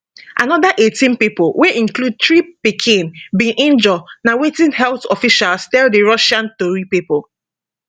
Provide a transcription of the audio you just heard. anoda 18 pipo wey include three pikin bin injure na wetin health officials tell di russian tori pipo